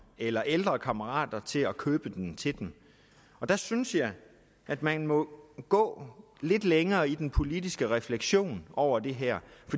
eller ældre kammerater til at købe den til dem der synes jeg at man må gå lidt længere i den politiske refleksion over det her